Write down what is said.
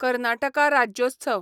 Karnataka Rajyotsav